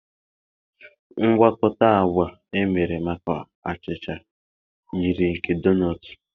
Mgwakota agwa emere maka achịcha yiri nke donọọtụ.